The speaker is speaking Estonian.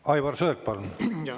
Aivar Sõerd, palun!